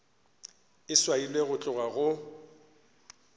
e swailwe go tloga go